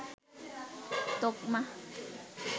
তোকমা